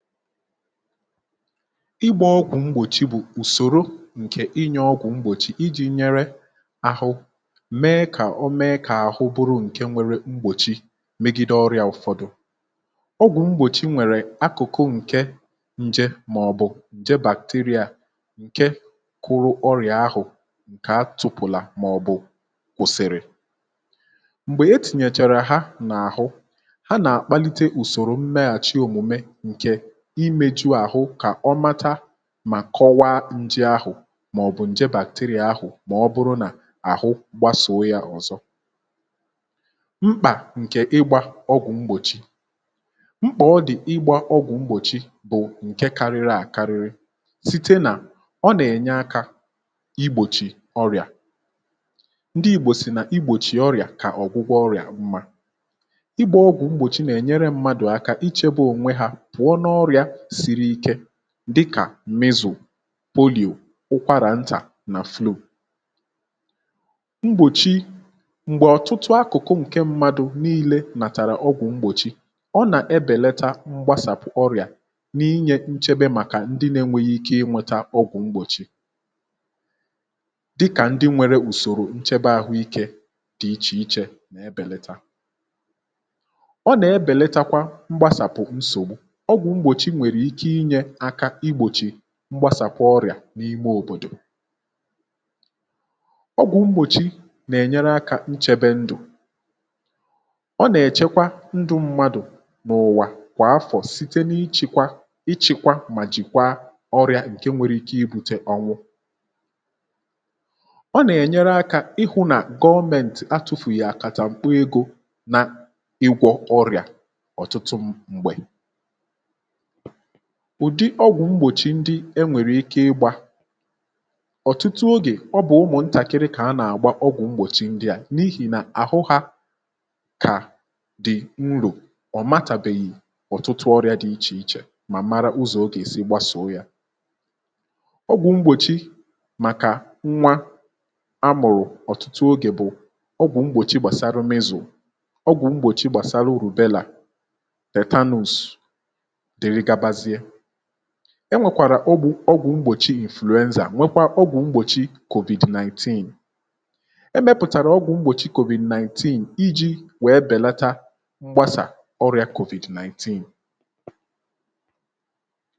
igbȧ ọgwụ̀ mgbòchi bụ̀ ùsòro ǹkè inye ọgwụ̀ mgbòchi iji̇ nyere ahụ mee kà o mee kà ahụ bụrụ ǹke nwere mgbòchi megide ọrịa ụ̀fọdụ, ọgwụ̀ mgbòchi nwèrè akụ̀kụ ǹke nje màọ̀bụ̀ ǹje bàkteria ǹke kụrụ ọrịa ahụ̀ ǹkè a tụpụ̀la màọ̀bụ̀ kwụ̀sị̀rị̀ m̀gbè etìnyèchàrà ha nà-àhụ, ha nà-àkpalite ùsòrò mmeghàchi òmùme nke imeju àhụ kà ọ mata mà kọwaa nje ahụ̀ màọ̀bụ̀ nje bàkterịà ahụ̀ mà ọ bụrụ nà àhụ gbasòo yȧ ọ̀zọ mkpà ǹkè ịgbȧ ọgwụ̀ mgbòchi, mkpà ọ dì ịgbȧ ọgwụ̀ mgbòchi bụ̀ ǹke karịrị àkarịrị site nà ọ nà-ènye akȧ igbòchì ọrị̀à, ndị igbò sì nà igbòchì ọrị̀à kà ọ̀gwụgwọ ọrị̀à mma, igbȧ ọgwụ̀ mgbòchi nà-ènyere mmadụ̀ aka icheba ònwe hȧ pụọ n'oria siri ike dịkà mizù, polìò, ụkwarà ntà nà flow ,mgbòchi m̀gbè ọ̀tụtụ akụ̀kụ ǹke mmadụ̇ nii̇lė nàtàrà ọgwụ̀ mgbòchi ọ nà-ebèlata mgbasàpụ̀ ọrị̀à n’inyė nchebe màkà ndị nȧ-enweghi ike inweta ọgwụ̀ mgbòchi dịkà ndị nwere ùsòrò nchebe ahụ̇ ikė dị ichè ichè nà-ebelata, ọ nà-ebelatakwa mgbasàpụ̀ nsògbu ọgwụ mgbochi nwereiki ịnye aka ị gbòchì mgbasàbụ ọrị̀à n’ime òbòdò, ọgwụ̀ mgbòchi nà-ènyere akȧ nchèbe ndụ̀ ọ nà-èchekwa ndụ̇ mmadụ̀ nà ụ̀wà kwà afọ̀ site na-ichèkwa ichikwa mà jìkwa ọrị̀à ǹke nwere ike ị bùte ọnwụ ọ nà-ènyere akȧ ịhụ̇ nà gọọmentì atụ̀fụ̀ghì akàtà mkpọ egȯ na ịgwọ̇ ọrị̀à ọ̀tụtụ m̀gbè ụ̀dị ọgwụ̀ mgbòchi ndị enwèrèike ịgbȧ ọ̀tụtụ ogè ọ bụ̀ ụmụ̀ ntàkiri kà a nà-àgba ọgwụ̀ mgbòchi ndị à n’ihì nà àhụ hȧ kà dị̀ nrò ọ̀matàbeghị̀ ọ̀tụtụ ọrị̇ȧ dị̇ ichè ichè mà mara ụzọ̀ ogè si gbasòo yȧ, ọgwụ̀ mgbòchi màkà nwa amụ̀rụ̀ ọ̀tụtụ ogè bụ̀ ọgwụ̀ mgbòchi gbàsarụ mịzù, ọgwụ̀ mgbòchi gbàsarụ rùbelà, tatanus enwèkwàrà ọgwụ ọgwụ mgbòchi influenza nwekwa ọgwụ mgbòchi covid-19 e mepụ̀tàrà ọgwụ mgbòchi covid-19 iji wèe bèlata mgbasà ọrịà covid-19